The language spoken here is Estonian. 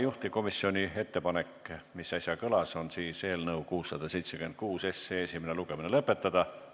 Juhtivkomisjoni ettepanek, mis äsja kõlas, on eelnõu 676 esimene lugemine lõpetada.